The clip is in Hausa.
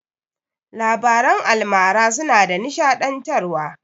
Labaran almara suna da nishaɗantar wa